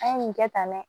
An ye nin kɛ tan dɛ